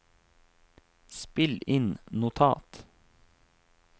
spill inn notat